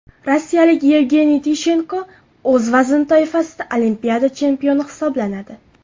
Rossiyalik Yevgeniy Tishenko o‘z vazn toifasida Olimpiada chempioni hisoblanadi.